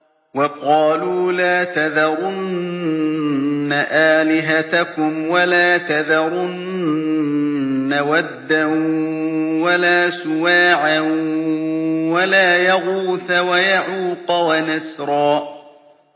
وَقَالُوا لَا تَذَرُنَّ آلِهَتَكُمْ وَلَا تَذَرُنَّ وَدًّا وَلَا سُوَاعًا وَلَا يَغُوثَ وَيَعُوقَ وَنَسْرًا